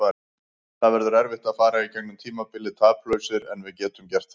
Það verður erfitt að fara í gegnum tímabilið taplausir en við getum gert það.